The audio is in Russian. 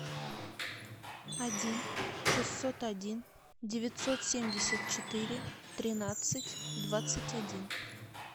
один шестьсот один девятьсот семьдесят четыре тринадцать двадцать один